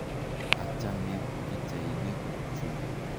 Achame pichainik chu.